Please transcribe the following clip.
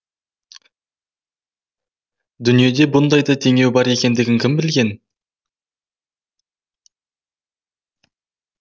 дүниеде бұндай да теңеу бар екендігін кім білген